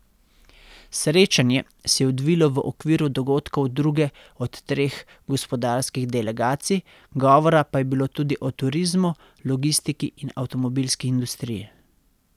Srečanje se je odvilo v okviru dogodkov druge od treh gospodarskih delegacij, govora pa je bilo tudi o turizmu, logistiki in avtomobilski industriji.